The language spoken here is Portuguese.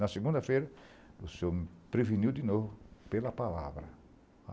Na segunda-feira, o senhor me preveniu de novo, pela palavra.